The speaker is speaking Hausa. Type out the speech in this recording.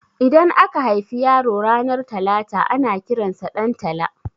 Idan aka haifi yaro ranar talata ana kiransa Ɗantala